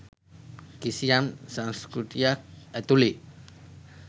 කිසියම් සංස්කෘතියක් ඇතුලේ.